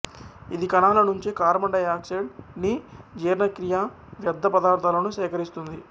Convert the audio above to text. ఇది కణాల నుంచి కార్బన్ డైయాక్సైయిడ్ ని జీర్ణక్రియా వ్యర్ధపదార్ధాలను సేకరిస్తుంది